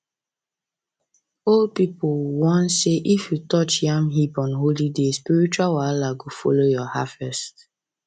old people warn say if you touch yam heap on holy day spiritual wahala go follow your harvest